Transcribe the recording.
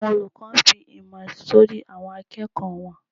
Àwọn olùkọ ǹ fí ìmọ̀ sorí awọn àkẹ́kò wọn.